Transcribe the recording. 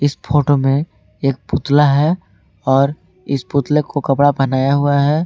Photo मे एक पुतला है और इस पुतले को कपड़ा पहनाया हुआ है।